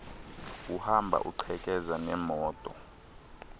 uhamba uqhekeza neemoto